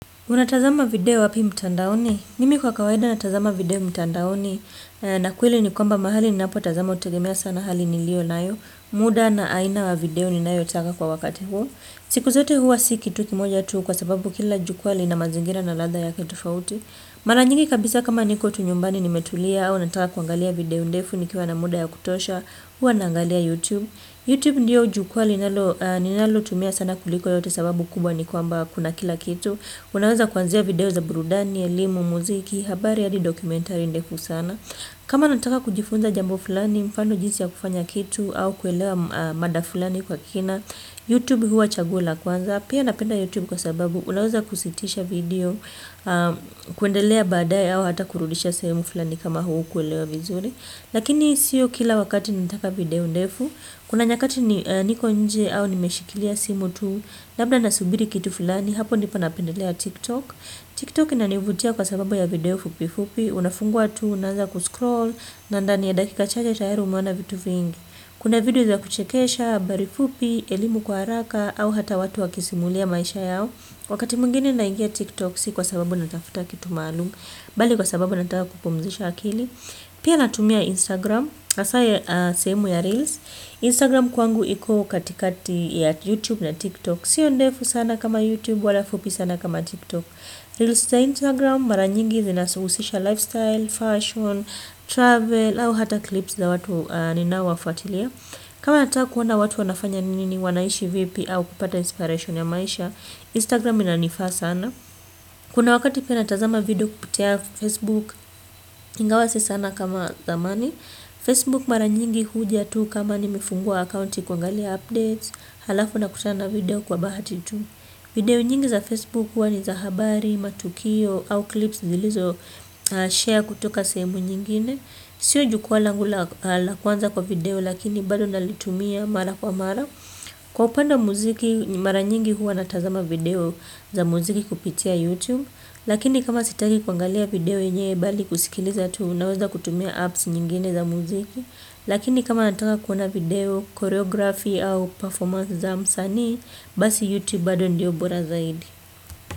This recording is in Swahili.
Unatazama video wapi mtandaoni? Mimi kwa kawaida natazama video mtandaoni na kweli ni kwamba mahali ninapotazama hutegemea sana hali niliyo nayo muda na aina ya video ninayotaka kwa wakati huo siku yote si kitu kimoja tu kwa sababu kila jukwa lina mazingira na ladha yake tofauti mara nyingi kabisa kama niko tu nyumbani nimetulia au nataka kuangalia video ndefu nikiwa na muda ya kutosha huwa naangalia youtube youtube ndio jukwa ninalo ninalo tumia sana kuliko yote sababu kubwa ni kwamba kuna kila kitu. Unaweza kuanzia video za burudani, elimu, muziki, habari hadi dokumentari ndefu sana. Kama nataka kujifunza jambo fulani, mfano jinsi ya kufanya kitu au kuelewa mada fulani kwa kina Youtube huwa chaguo la kwanza. Pia napenda Youtube kwa sababu unaweza kusitisha video. Kuendelea baadaye au hata kurudisha sehemu fulani kama hukuelewa vizuri. Lakini siyo kila wakati nataka video ndefu. Kuna nyakati niko nje au nimeshikilia simu tu. Labda nasubiri kitu fulani hapo ndipo napendelea tiktok tiktok inanivutia kwa sababu ya video fupi fupi, unafungua tu, unaanza kuscroll, na ndani ya dakika chache tayari umeona vitu vingi, kuna video za kuchekesha, habari fupi, elimu kwa haraka, au hata watu wa kisimulia maisha yao, wakati mwingine naingia tiktok si kwa sababu natafuta kitu maalumu, bali kwa sababu nataka kupumzisha akili, pia natumia instagram, hasa sehemu ya reels, instagram kwangu iko katikati ya youtube na tiktok, siyo ndefu sana kama youtube wala fupi sana kama tiktok reals za instagram mara nyingi zinahusisha lifestyle, fashion travel au hata clips za watu ninaowafuatilia kama nataka kuona watu wanafanya nini wanaishi vipi au kupata inspiration ya maisha, instagram inanifaa sana. Kuna wakati pia nayazama video kupitia facebook ingawa si sana kama zamani facebook mara nyingi huja tu kama nimefungua accounti kuangalia updates alafu nakutana video kwa bahati tu. Video nyingi za facebook huwa ni za habari, matukio au clips zilizo share kutoka sejemu nyingine sio jukwa langu la kwanza kwa video lakini bado nalitumia mara kwa mara kwa upande muziki mara nyingi huwa natazama video za muziki kupitia youtube lakini kama sitaki kuangalia video yenyewe bali kusikiliza tu naweza kutumia apps nyingine za muziki lakini kama nataka kutazama video choreography au performance ya msanii basi youtube bado ndio bora zaidi.